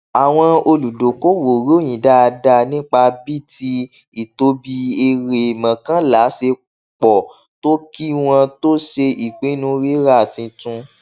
àwọn olùdokoowo ròyìn dáadáa nípa bíi tí ìtóbi èrè mọkànlá ṣe pọ tó kí wọn tó ṣe ìpinnu rírà tuntun